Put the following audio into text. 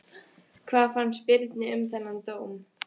Hvað fannst Birni um þennan dóm?